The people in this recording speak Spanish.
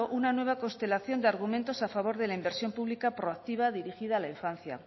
una nueva constelación de argumentos a favor de la inversión pública proactiva dirigida a la infancia